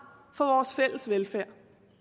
for vores fælles velfærd